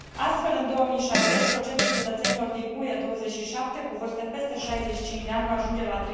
Astfel, în 2060, procentul cetățenilor din UE 27 cu vârste peste 65 de ani va ajunge la